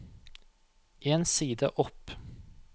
En side opp